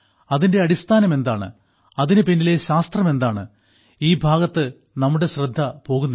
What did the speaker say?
അതിന്റെ അടിസ്ഥാനം എന്താണ് അതിനു പിന്നിലെ ശാസ്ത്രം എന്താണ് ഈ ഭാഗത്ത് നമുക്ക് ശ്രദ്ധ പോകുന്നില്ല